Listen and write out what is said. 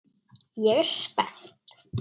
Ég er spennt.